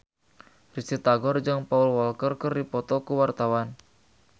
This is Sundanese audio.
Risty Tagor jeung Paul Walker keur dipoto ku wartawan